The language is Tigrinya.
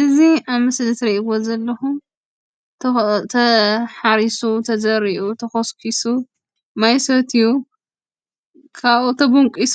እዚ ኣብ ምስሊ እትሪእዎ ዘለኹም ተሓሪሱ፣ ተዘሪኡ፣ ተኾስኲሱ፣ ማይ ሰትዩ ካብኡ ተቦንቊሱ